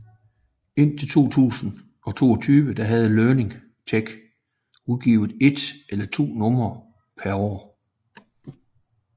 Indtil 2022 havde Learning Tech udgivet et eller to numre per år